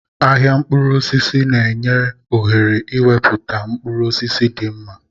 Ahịa mkpụrụ osisi na-enye ohere ịnweta mkpụrụ osisi dị mma.